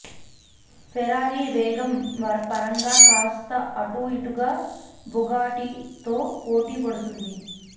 Ferrari వేగం పరంగా కాస్త అటు ఇటుగా బుగాటితో పోటి పడుతుంది